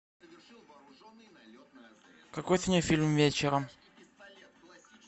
какой сегодня фильм вечером